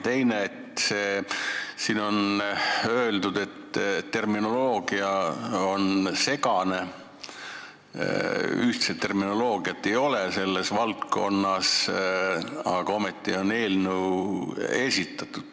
Teiseks, siin on öeldud, et terminoloogia on segane, ühtset terminoloogiat selles valdkonnas ei ole, aga ometi on eelnõu esitatud.